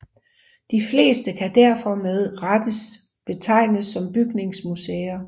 De fleste kan derfor med rettes betegnes som bygningsmuseer